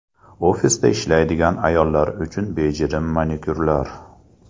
Ofisda ishlaydigan ayollar uchun bejirim manikyurlar.